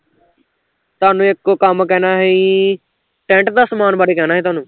ਤੁਹਾਨੂੰ ਇੱਕੋ ਕੰਮ ਕਹਿਣਾ ਸੀ tent ਦਾ ਸਮਾਨ ਬਾਰੇ ਕਹਿਣਾ ਸੀ ਤੁਹਾਨੂੰ